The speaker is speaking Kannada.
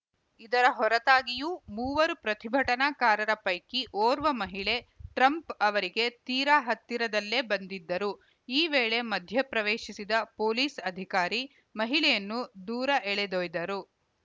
ಇದರ ಹೊರತಾಗಿಯೂ ಮೂವರು ಪ್ರತಿಭಟನಾಕಾರರ ಪೈಕಿ ಓರ್ವ ಮಹಿಳೆ ಟ್ರಂಪ್‌ ಅವರಿಗೆ ತೀರಾ ಹತ್ತಿರದಲ್ಲೇ ಬಂದಿದ್ದರು ಈ ವೇಳೆ ಮಧ್ಯಪ್ರವೇಶಿಸಿದ ಪೊಲೀಸ್‌ ಅಧಿಕಾರಿ ಮಹಿಳೆಯನ್ನು ದೂರ ಎಳೆದೊಯ್ದರು